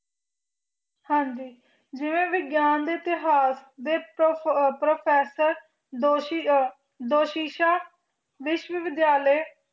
ਜਿਵੇਂ ਵਿਗਿਆਨ ਦੇ ਇਤਿਹਾਸ ਦੇ professor ਦੋਸ਼ੀ ਦੋਸ਼ੀਸ਼ਾ ਵਿਸ਼ਵ ਵਿਦਿਆਲੇ